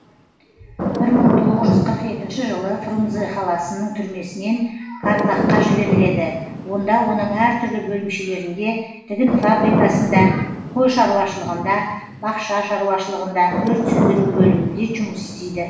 бір мың тоғыз жүз қырық екінші жылы фрунзе қаласының түрмесінен карлаг қа жіберіледі онда оның әр түрлі бөлімшелерінде тігін фабрикасында қой шаруашылығында бақша шаруашылығында өрт сөндіру бөлімінде жұмыс істейді